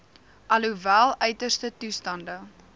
alhoewel uiterste toestande